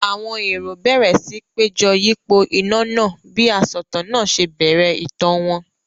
Àwọn èrò bẹ̀rẹ̀ síi péjọ yípo iná náà bí asọ̀tàn náà ṣe bẹ̀rẹ̀ ìtàn wọn.